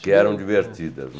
Que eram divertidas.